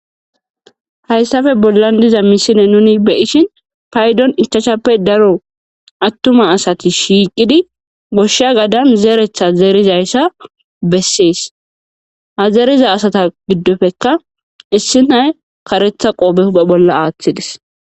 hayssafe bollan diza misile nuni beyishin paydon ichachappe daro attuma asati shiiqidi goshsha gadan zeeretha zeerizayssa bessees hazeeriza asata giddofekka issi nay karetha qoobe huphe bolla aaththides